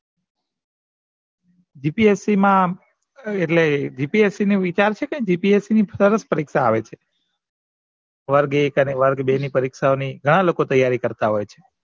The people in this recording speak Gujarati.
g. p. s. c મા અમ એટલે g. p. s. c નો વિચાર શે કઈ g. p. s. c પર જ પરીક્ષા આવશે વર્ગ એક અને વેગ બે ના પરીક્ષાની ની ગણ લીકો તૈયારી કરતા હોય છે.